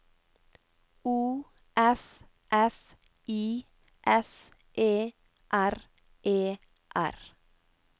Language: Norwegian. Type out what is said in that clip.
O F F I S E R E R